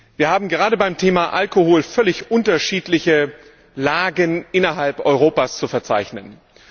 Wir haben gerade beim Thema Alkohol völlig unterschiedliche Lagen innerhalb Europas zu verzeichnen.